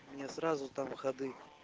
мне сразу там ходы